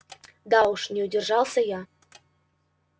да уж не удержался я